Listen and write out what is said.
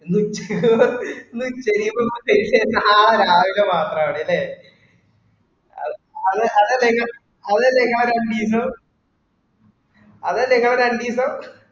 ഇന്ന് ഉച്ചക്കും ഉച്ചയും നാളെ രാവിലെ മാത്രണല്ല അത അതല്ലേ അതല്ലേ ഇങ്ങളെ രണ്ടീസം അതല്ലേഇങ്ങളെ രണ്ടീസം